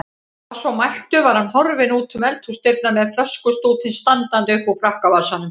Að svo mæltu var hann horfinn útum eldhúsdyrnar með flöskustútinn standandi uppúr frakkavasanum.